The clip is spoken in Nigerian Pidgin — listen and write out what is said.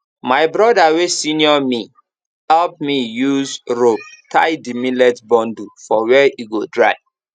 my broda wey senior me help me use rope tie the millet bundle for where e go dry